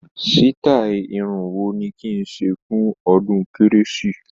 Sítáì irun wo ni kí n ṣe fún ọdún Kérésìmesì?